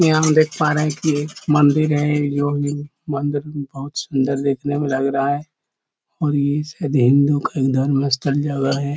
यहाँ हम देख पा रहे है की मंदिर है जोकि मंदिर बहुत सुंदर देखने में लग रहा है और ये शायद हिन्दू धर्म स्थल मस्त जगह है ।